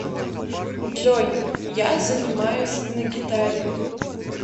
джой я занимаюсь на гитаре